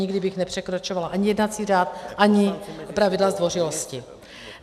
Nikdy bych nepřekračovala ani jednací řád, ani pravidla zdvořilosti.